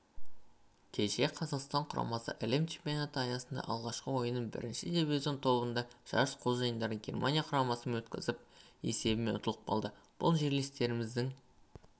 кеше қазақстан құрамасы әлем чемпионаты аясындағы алғашқы ойынын бірінші дивизион тобында жарыс қожайындары германия құрамасымен өткізіп есебімен ұтылып қалды бүгін жерлестеріміз